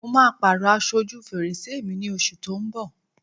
Mo máa Pààrọ̀ aṣọ ojú fèrèsé mi ní oṣù tó ń bọ̀